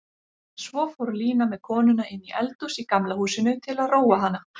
Svo fór Lína með konuna inní eldhús í Gamla húsinu til að róa hana.